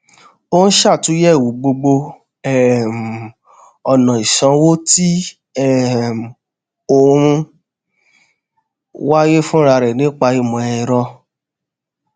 ó ṣàtunyèwò gbogbo um ona isanwo ti um o n waye fun rare nipa imo ero